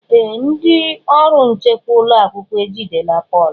Ee! Ndị ọrụ nchekwa ụlọ akwụkwọ ejidela Pọl.